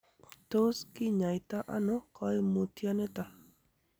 Tos kinyaita ono koimutioniton.